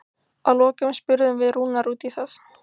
Að lokum spurðum við Rúnar út í það?